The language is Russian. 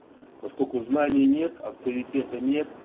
поскольку знаний нет авторитета нет